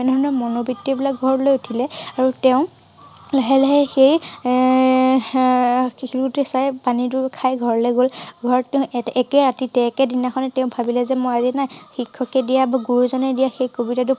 মানে ধিনৰণ মনুবৃত্তি বিলাক ঘৰলৈ উঠিলে আৰু তেওঁ লাহে লাহে সেই এ~এ~এ আহ ~হে শিলগুটি চাই পানী টো খাই ঘৰলৈ গল ঘৰৰ তেওঁ এত~একে ৰাতি তে একে দিনাখনে তেওঁ ভাবিলে যে মই এৰি নাই শিক্ষকে দিয়া ব গুৰুজনাই দিয়া সেই কবিতাটো